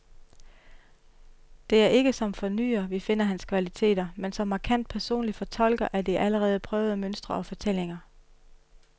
Det er ikke som fornyer, vi finder hans kvaliteter, men som markant personlig fortolker af de allerede prøvede mønstre og fortællinger.